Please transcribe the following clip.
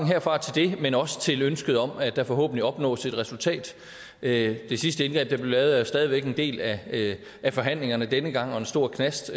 herfra til det men også til ønsket om at der forhåbentlig opnås et resultat det sidste indgreb der blev lavet er stadig væk en del af af forhandlingerne denne gang og en stor knast